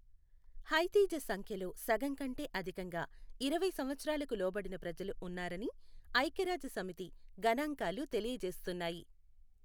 హైతీ జసంఖ్యలో సగంకంటే అధికంగా ఇరవై సంవత్సరాలకు లోబడిన ప్రజలు ఉన్నారని ఐఖ్యరాజ్యసమితి గణాంకాలు తెలియజేస్తున్నాయి.